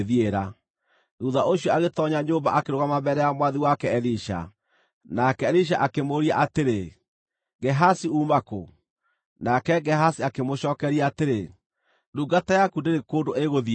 Thuutha ũcio agĩtoonya nyũmba akĩrũgama mbere ya mwathi wake Elisha. Nake Elisha akĩmũũria atĩrĩ, “Gehazi uuma kũ?” Nake Gehazi akĩmũcookeria atĩrĩ, “Ndungata yaku ndĩrĩ kũndũ ĩgũthiĩte.”